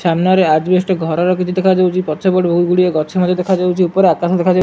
ସାମ୍ନାରେ ଅଜବେଷ୍ଟ ଘରର କିଛି ଦେଖାଯାଉଚି ପଛପଟେ ବହୁଗୁଡ଼ିଏ ଗଛ ମଧ୍ୟ ଦେଖାଯାଉଚି ଉପରେ ଆକାଶ ଦେଖାଯାଉ --